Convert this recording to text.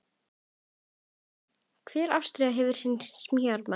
Hver árstíð hefur sinn sjarma.